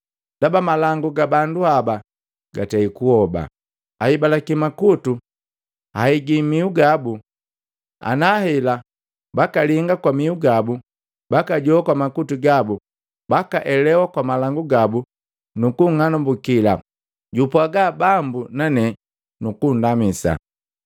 Ndaba malangu ga bandu haba gatei kuhoba, ahibalaki makuto ahigi mihu gabo ana hela bakalinga kwa mihu gabu bakajoa kwa makutu gabo bakaelewa kwa malangu gabo nukung'anumbukila, jupwaaga Bambu nane nukundamisa.’ ”